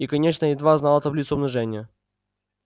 и конечно едва знала таблицу умножения